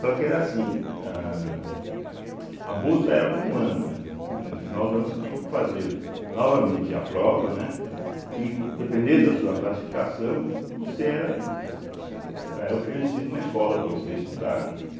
Só que era assim, âh a bolsa era para um ano, né, no final do ano você tinha que fazer novamente a prova, né, e co dependendo da sua classificação, você era, né era oferecido uma escola para você estudar, né.